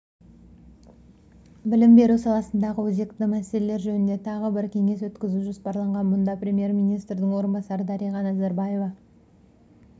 білім беру саласындағы өзекті мәселелер жөнінде тағы бір кеңес өткізу жоспарланған мұнда премьер-министрдің орынбасары дариға назарбаева